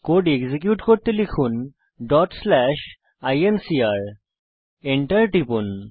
code execute করতে লিখুন incr Enter টিপুন